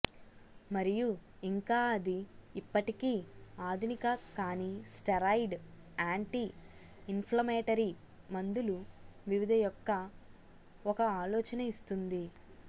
మరియు ఇంకా అది ఇప్పటికీ ఆధునిక కాని స్టెరాయిడ్ యాంటీ ఇన్ఫ్లమేటరీ మందులు వివిధ యొక్క ఒక ఆలోచన ఇస్తుంది